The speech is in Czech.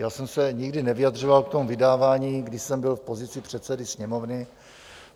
Já jsem se nikdy nevyjadřoval k tomu vydávání, když jsem byl v pozici předsedy Sněmovny.